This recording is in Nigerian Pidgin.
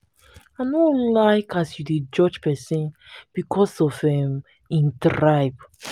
i no like as you dey judge pesin because of um im tribe.